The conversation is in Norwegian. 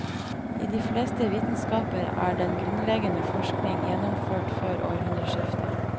I de fleste vitenskaper er den grunnleggende forskning gjennomført før århundreskiftet.